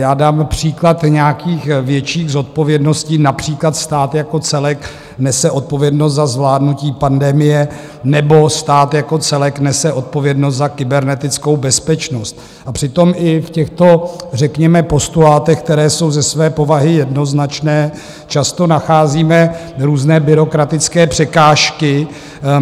Já dám příklad nějakých větších zodpovědností, například stát jako celek nese odpovědnost za zvládnutí pandemie nebo stát jako celek nese odpovědnost za kybernetickou bezpečnost, a přitom i v těchto řekněme postulátech, které jsou ze své povahy jednoznačné, často nacházíme různé byrokratické překážky.